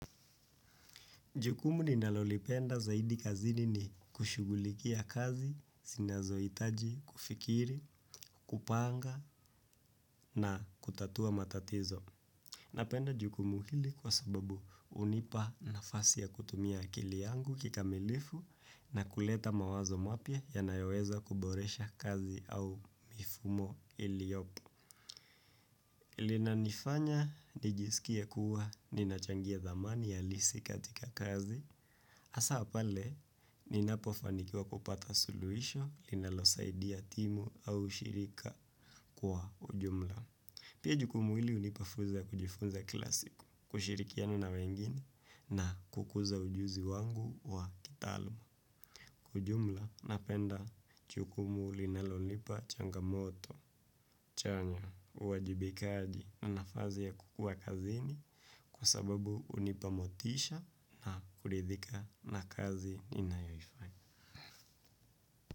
Jukumu ninalolipenda zaidi kazini ni kushughulikia kazi, zinazohitaji kufikiri, kupanga, na kutatua matatizo. Napenda jukumu hili kwa sababu hunipa nafasi ya kutumia akili yangu kikamilifu na kuleta mawazo mapya yanayoweza kuboresha kazi au mifumo iliyopo. Linanifanya nijisikie kuwa ninachangia dhamani halisi katika kazi. Hasaa pale ninapofanikiwa kupata suluhisho linalosaidia timu au ushirika kwa ujumla. Pia jukumu hili hunipa fursa ya kujifunza kila siku, kushirikiana na wengine na kukuza ujuzi wangu wa kitaaluma. Kwa ujumla napenda jukumu linalonipa changamoto chanya, uwajibikaji na nafasi ya kukuwa kazini kwa sababu hunipa motisha na kuridhika na kazi ninayoifanya.